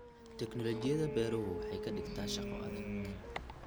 Tiknoolajiyada beeruhu waxay ka dhigtaa shaqo adag.